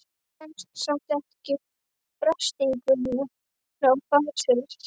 Hún stenst samt ekki freistinguna og fær sér einn.